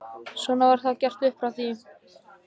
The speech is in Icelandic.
Svona var það gert upp frá því.